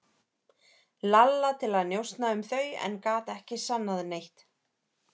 Lalla til að njósna um þau en gat ekki sannað neitt.